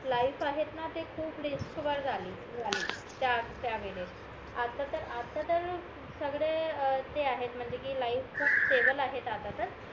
life आहेत ना ते खूप रिस्क वर झाली त्या वेळेस आता तर सगडे जे आहेत म्हणजे कि लाईफ खूप स्टेबल आहेत आता तर